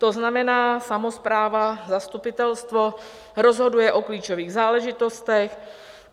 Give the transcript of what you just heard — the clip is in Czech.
To znamená samospráva, zastupitelstvo rozhoduje o klíčových záležitostech.